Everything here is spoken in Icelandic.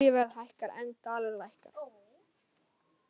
Olíuverð hækkar en dalur lækkar